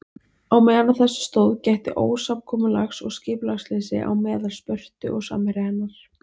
Á meðan á þessu stóð gætti ósamkomulags og skipulagsleysis á meðal Spörtu og samherja hennar.